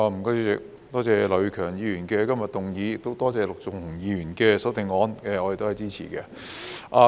主席，多謝劉業強議員今日提出議案，亦多謝陸頌雄議員的修正案，我們都是支持的。